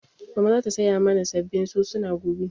Mama za ta saya mana sabbin sosuna gobe